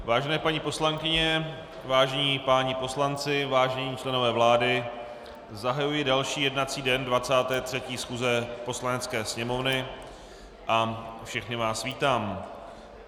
Vážené paní poslankyně, vážení páni poslanci, vážení členové vlády, zahajuji další jednací den 23. schůze Poslanecké sněmovny a všechny vás vítám.